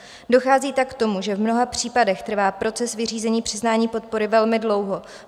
Dochází tak k tomu, že v mnoha případech trvá proces vyřízení přiznání podpory velmi dlouho.